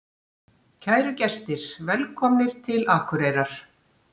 Kæru gestir! Velkomnir til Akureyrar.